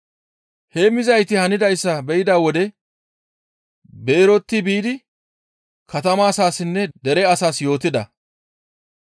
Heemmizayti hanidayssa be7ida wode beerotti biidi katama asaassinne dere asaas yootida.